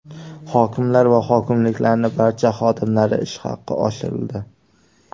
Hokimlar va hokimliklarning barcha xodimlari ish haqi oshirildi.